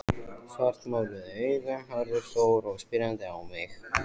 Svartmáluð augun horfðu stór og spyrjandi á mig.